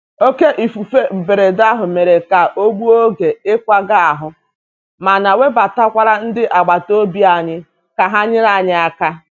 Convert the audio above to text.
Oké ifufe mberede ahụ mere ka ọ gbuo oge ịkwaga ahụ, mana webatakwara ndị agbata obi anyị ka ha nyere aka.